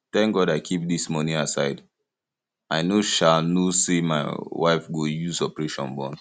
thank god i keep dis money aside i no um know say my wife go use operation born